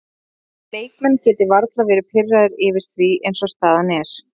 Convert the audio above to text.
Ég held að leikmenn geti varla verði pirraðir yfir því eins og staðan er.